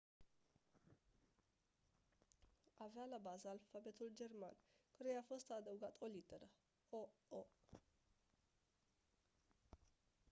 avea la bază alfabetul german căruia i-a fost adăugată o literă «õ/õ».